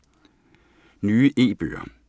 Nye e-bøger